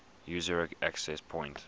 user access point